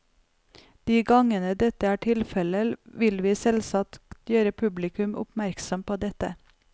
De gangene dette er tilfelle, vil vi selvsagt gjøre publikum oppmerksomme på dette.